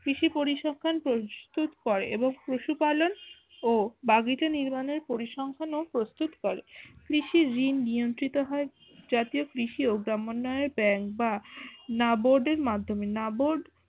কৃষি পরিসংখ্যান প্রস্তুতকর এবং পশুপাখি পালন ও দাবিত নির্মাণের পরিসংখ্যান প্রস্তুত কর কৃষির ঋণ নিয়ন্ত্রিত হার জাতীয় কৃষি ও ভ্রামানোয় বা না বোর্ডের মাধ্যমে না বোর্ড